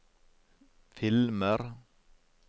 filmer